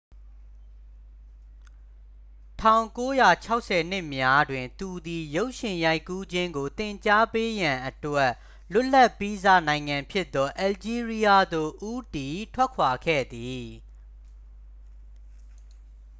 1960 နှစ်များတွင် သူသည် ရုပ်ရှင်ရိုက်ကူးခြင်းကို သင်ကြားပေးရန်အတွက် လွတ်လပ်ပြီးစ နိုင်ငံဖြစ်သော အယ်လ်ဂျီးရီးယားသို့ ဦးတည်ထွက်ခွာခဲ့သည်